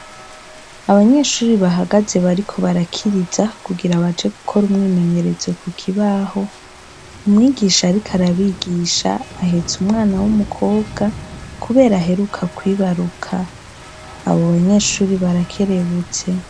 Abanyeshuri bahagaze bariko barakiriza kugira baje gukora umwimenyerezo ku kibaho umwigisha ariko arabigisha ahetse umwana w'umukobwa kubera aheruka kwibaruka abo banyeshuri barakerebutse.